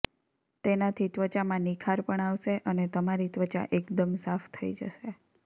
તેનાથી ત્વચામાં નિખાર પણ આવશે અને તમારી ત્વચા એકદમ સાફ થઈ જશે